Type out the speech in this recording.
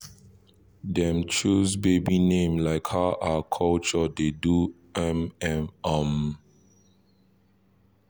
dem choose baby name like how our culture dey do m m um